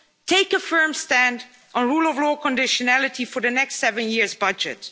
Take a firm stand on a rule of law conditionality for the next seven year budget.